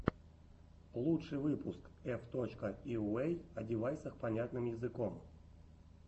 лучший выпуск эф точка йуэй о девайсах понятным языком